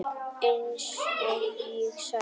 Eins og ég sagði.